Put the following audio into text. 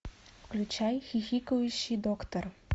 включай хихикающий доктор